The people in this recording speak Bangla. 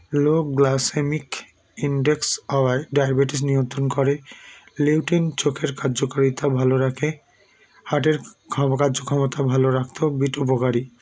low glycemic index হওয়ায় diabetic নিয়ন্ত্রণ করে leoten চোখের কার্যকারিতা ভালো রাখে heart -এর খামকার্য ক্ষমতা ভালো রাখতেও বিট উপকারী